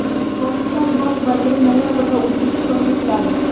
Pokiston bosh vaziri noyabrda O‘zbekistonga keladi .